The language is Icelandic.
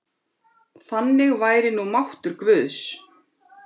Þannig væri nú máttur guðs.